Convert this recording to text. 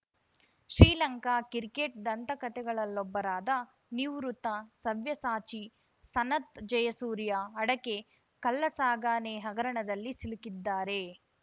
Sri Lanka cricket ದಂತಕಥೆಗಳಲ್ಲೊಬ್ಬರಾದ ನಿವೃತ್ತ ಸವ್ಯಸಾಚಿ ಸನತ್‌ ಜಯಸೂರ್ಯ ಅಡಕೆ ಕಳ್ಳಸಾಕಾಣೆ ಹಗರಣದಲ್ಲಿ ಸಿಲುಕಿದ್ದಾರೆ